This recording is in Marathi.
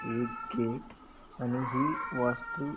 एक गेट आणि ही वास्तु--